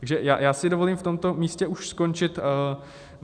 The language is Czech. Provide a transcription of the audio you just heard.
Takže já si dovolím v tomto místě už skončit.